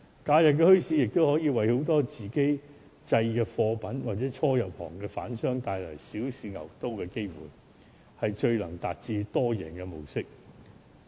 假日墟市亦可以為很多售賣自家製貨品的市民，或者初入行的販商帶來小試牛刀的機會，是最能達致多贏的模式。